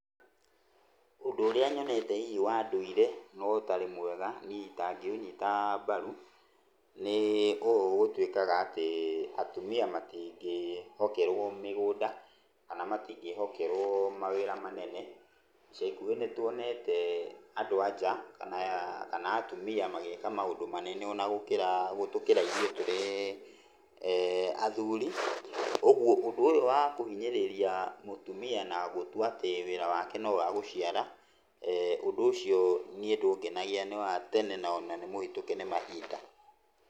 Ũndũ ũrĩa nyonete hihi wa ndũire na ũtarĩ mwega niĩ itangĩũnyita mbaru, nĩĩ ũũ gũtuĩkaga atĩ atumia matingĩhokerwo mĩgũnda, kana matingĩhokerwo mawĩra manene. Ica ikuhĩ nĩtuonete andũ a nja kana atumia magĩka maũndũ manene ona gũkĩra gũtũkĩra ithuĩ tũrĩ athuri. Ũguo ũndũ ũyũ wa kũhinyĩrĩria mũtumia na gũtua atĩ wĩra wake no wa gũciara, ũndũ ũcio niĩ ndũngenagia na nĩwa tene na ona nĩmũhĩtũke nĩ mahinda .